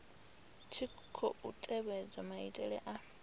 tshi khou tevhedzwa maitele a